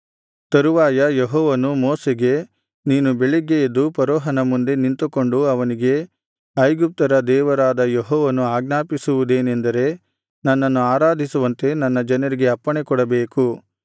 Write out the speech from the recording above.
ತರುವಾಯ ಯೆಹೋವನು ಮೋಶೆಗೆ ನೀನು ಬೆಳಿಗ್ಗೆ ಎದ್ದು ಫರೋಹನ ಮುಂದೆ ನಿಂತುಕೊಂಡು ಅವನಿಗೆ ಇಬ್ರಿಯರ ದೇವರಾದ ಯೆಹೋವನು ಆಜ್ಞಾಪಿಸುವುದೇನೆಂದರೆ ನನ್ನನ್ನು ಆರಾಧಿಸುವಂತೆ ನನ್ನ ಜನರಿಗೆ ಅಪ್ಪಣೆಕೊಡಬೇಕು